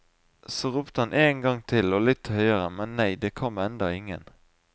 Så ropte han én gang til og litt høyere, men nei, det kom enda ingen.